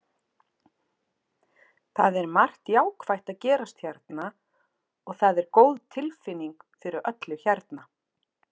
Það er margt jákvætt að gerast hérna og það er góð tilfinning fyrir öllu hérna.